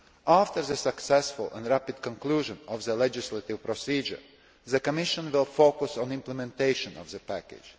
After the successful and rapid conclusion of the legislative procedure, the Commission will focus on implementation of the package.